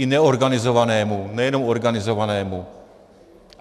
I neorganizovanému, nejenom organizovanému.